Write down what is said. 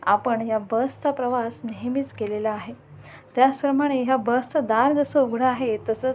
आपण ह्या बस चा प्रवास नेहमीच केलेला आहे त्याच प्रमाणे ह्या बस च दार जसं उघड आहे तसच--